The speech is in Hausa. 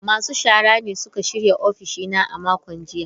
Masu shara ne suka shirya ofishina a makon jiya.